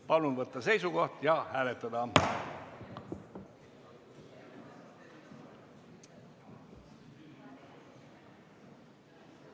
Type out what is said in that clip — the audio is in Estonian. Palun võtta seisukoht ja hääletada!